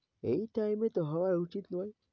এই time এ তো হওয়া উচিন নয়।